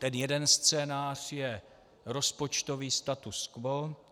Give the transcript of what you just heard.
Ten jeden scénář je rozpočtový status quo.